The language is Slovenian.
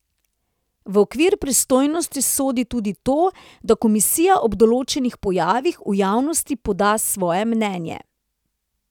V okvir pristojnosti sodi tudi to, da komisija ob določenih pojavih v javnosti poda svoje mnenje.